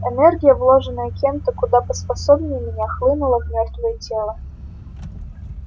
энергия вложенная кем-то куда поспособнее меня хлынула в мёртвое тело